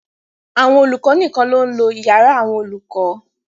Àwọn olùkọ nìkan ló ń lo yàrá àwọn olùkọ.